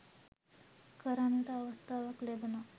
කරන්නට අවස්ථාවක් ලැබුනා.